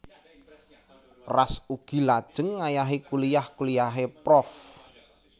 Ras ugi lajeng ngayahi kuliyah kuliyahé prof